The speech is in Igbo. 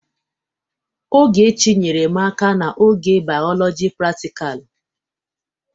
Ogechi nyeere m aka n'oge Bioloji pratikal.